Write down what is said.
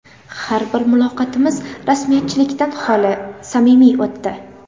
Har bir muloqotimiz rasmiyatchilikdan xoli, samimiy o‘tdi.